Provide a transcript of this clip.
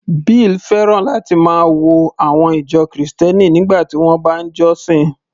Bill fẹ́ràn láti máa wo àwọn ìjọ Kristẹni nígbà tí wọ́n bá ń jọ́sìn